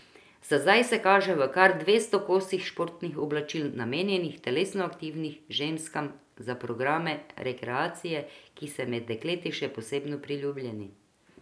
Za zdaj se kaže v kar dvesto kosih športnih oblačil, namenjenih telesno aktivnim ženskam za programe rekreacije, ki so med dekleti še posebno priljubljeni.